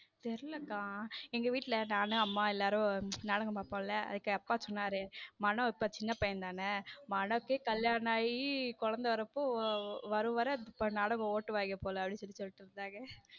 தெரியல அக்கா எங்க வீட்ல நானும் அம்மா எல்லாரும் நாடகம் பார்ப்போம்ல அதுக்கு அப்பா சொன்னாரு மனோ இப்போ சின்ன பையன் தானே மனோவுக்கே கல்யாணம் ஆகி குழந்தை வரப்போ வர வர நாடகம் ஓட்டு வாங்க போல அப்படின்னு சொல்லிட்டு இருந்தாங்க.